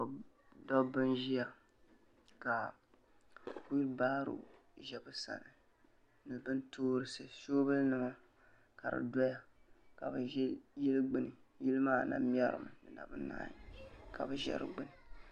Dabba n ʒia ka wiibaro ʒɛ be sani ni soobuli nima ka di doya ka bɛ be yili gbini yili maa na mɛrimi dinabɛ naagi ka bɛ ʒɛ di gbini.